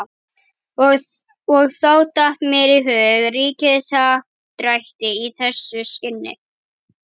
Og þá datt mér í hug ríkishappdrætti í þessu skyni.